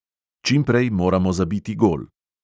Čim prej moramo zabiti gol.